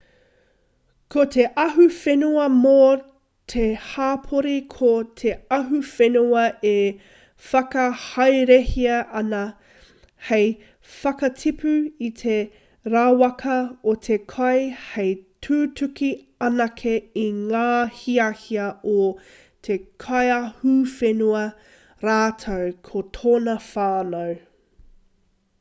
ko te ahuwhenua mō te hapori ko te ahuwhenua e whakahaerehia ana hei whakatipu i te rawaka o te kai hei tutuki anake i ngā hiahia o te kaiahuwhenua rātou ko tōna whānau